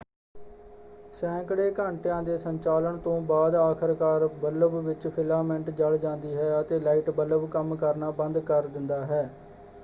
ਸੈਂਕੜੇ ਘੰਟਿਆਂ ਦੇ ਸੰਚਾਲਨ ਤੋਂ ਬਾਅਦ ਆਖਰਕਾਰ ਬੱਲਬ ਵਿੱਚ ਫਿਲਾਮੈਂਟ ਜਲ ਜਾਂਦੀ ਹੈ ਅਤੇ ਲਾਈਟ ਬੱਲਬ ਕੰਮ ਕਰਨਾ ਬੰਦ ਕਰ ਦਿੰਦਾ ਹੈ।